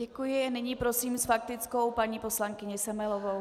Děkuji, nyní prosím s faktickou paní poslankyni Semelovou.